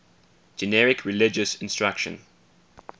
generic religious instruction